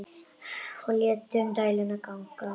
Og létum dæluna ganga.